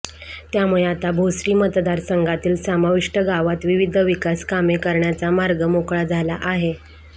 त्यामुळे आता भोसरी मतदारसंघातील समाविष्ट गावात विविध विकास कामे करण्याचा मार्ग मोकळा झाला आहे